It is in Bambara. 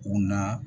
U na